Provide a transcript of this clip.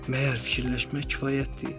Məgər fikirləşmək kifayətdir?